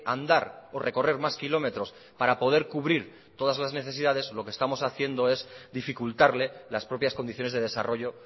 andar o recorrer más kilómetros para poder cubrir todas las necesidades lo que estamos haciendo es dificultarle las propias condiciones de desarrollo